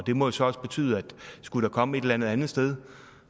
det må jo så også betyde at skulle der komme et eller andet andet sted